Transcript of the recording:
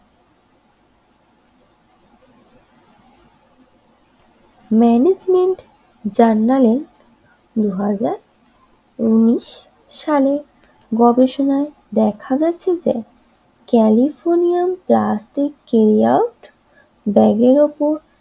management জার্নালের দযা হাজার উনিশ সাল গবেষণায় দেখা গেছে যে ক্যালিফোডিয়াম প্লাস্টিক ব্যাগের ওপর